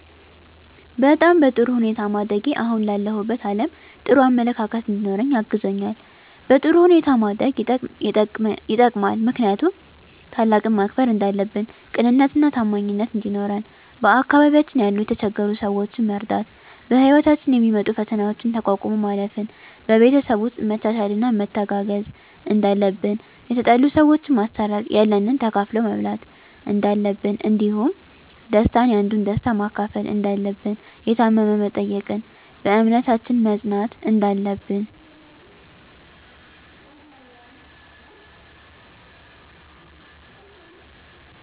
በጣም በጥሩ ሁኔታ ማደጌ አሁን ላለሁበት አለም ጥሩ አመለካከት እንዲኖረኝ አግዞኛል በጥሩ ሁኔታ ማደግ የጠቅማል ምክንያቱም ታላቅን ማክበር እንዳለብን ቅንነትና ታማኝነት እንዲኖረን በአካባቢያችን ያሉ የተቸገሩ ሰዎችን መርዳት በህይወታችን የሚመጡ ፈተናዎችን ተቋቁሞ ማለፍ ን በቤተሰብ ውስጥ መቻቻልና መተጋገዝ እንዳለብን የተጣሉ ሰዎችን ማስታረቅ ያለንን ተካፍሎ መብላት እንዳለብን እንዲሁም ደስታን ያንዱን ደስታ መካፈል እንዳለብን የታመመ መጠየቅን በእምነታችን መፅናት እንዳለብን